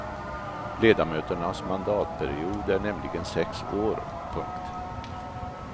Ledamöternas mandatperiod är nämligen sex år. punkt